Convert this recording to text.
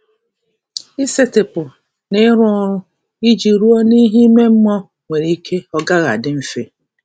Isetịpụ na ịrụ ọrụ iji ruo n'ihe ime mmụọ nwere ike ọ gaghị adị mfe.